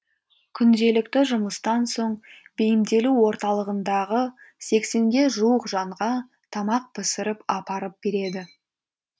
күнделікті жұмыстан соң бейімделу орталығындағы сексенге жуық жанға тамақ пісіріп апарып береді